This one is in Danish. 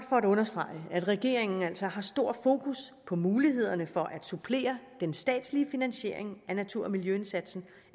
for at understrege at regeringen altså har stor fokus på mulighederne for at supplere den statslige finansiering af natur og miljøindsatsen